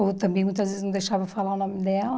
Ou também muitas vezes não deixava falar o nome dela.